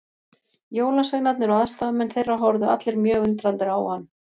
Jólasveinarnir og aðstoðarmenn þeirra horfðu allir mjög undrandi á hann.